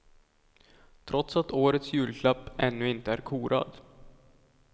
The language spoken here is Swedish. Trots att årets julklapp ännu inte är korad.